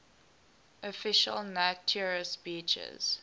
official naturist beaches